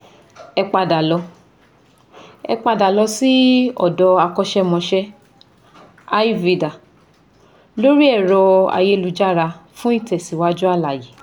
Ẹ padà lọ Ẹ padà lọ sí ọ̀dọ akọ́ṣémọṣé ayurveda lórí ẹ̀rọ ayélujára fún ìtẹ̀síwájú àlàyé